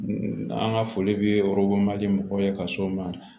An ka foli bɛ mɔgɔw ye ka s'o ma